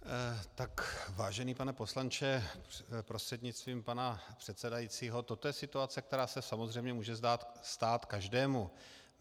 Vážený pane poslanče prostřednictvím pana předsedajícího, toto je situace, která se samozřejmě může stát každému.